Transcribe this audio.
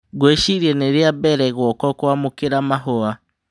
Ngũĩciria nĩ rĩa mbere guoko kũamũkĩra mahũa."